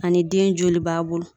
Ani den joli b'a bolo.